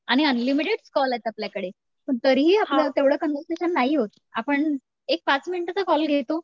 आणि unlimited calls आहेत आपल्याकडे तरीही आपलं तेवढं कान्वरसेशन नाही होत. आपण एक पाच मिनिटं तर कॉल घेतो.